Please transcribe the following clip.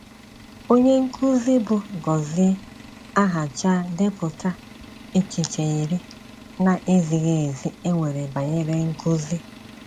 Onye nkụ́zi bụ́ Gozie Aháchà depụ̀tà echiche iri na - ezighị ezi e nwere banyere nkụzi.